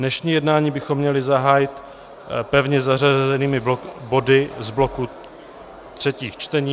Dnešní jednání bychom měli zahájit pevně zařazenými body z bloku třetích čtení.